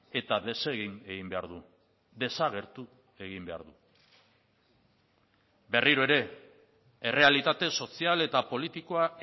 eta desegin egin behar du desagertu egin behar du berriro ere errealitate sozial eta politikoa